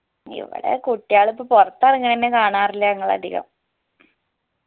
ഇവിടെ കുട്ടിയാൾ ഇപ്പൊ പോർത്ത് ഏറെങ്ങണ തന്നെ കാണാറില്ല്യ ഞങ്ങൾ അധികം